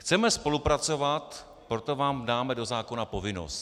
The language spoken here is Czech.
Chceme spolupracovat, proto vám dáme do zákona povinnost.